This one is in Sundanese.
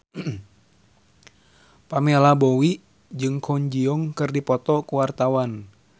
Pamela Bowie jeung Kwon Ji Yong keur dipoto ku wartawan